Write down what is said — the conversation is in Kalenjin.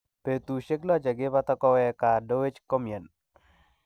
Betusiek loh chekipata kowek Gaah Dewji komyen